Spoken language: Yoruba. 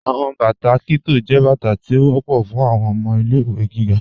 Awọn bátà Kitto jẹ́ bátà tí ó wọ̀pọ̀ fún awọn ọmọ ilẹ̀-ìwé gígá.